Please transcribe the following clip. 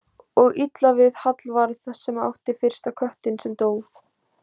Og illa við Hallvarð sem átti fyrsta köttinn sem dó.